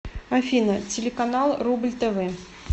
афина телеканал рубль тв